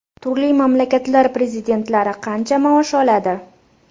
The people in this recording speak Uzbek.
Turli mamlakatlar prezidentlari qancha maosh oladi?.